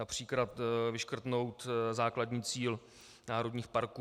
Například vyškrtnout základní cíl národních parků.